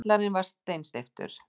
Kjallarinn var steinsteyptur.